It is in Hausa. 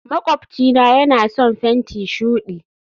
makwabcina yana son fenti shudi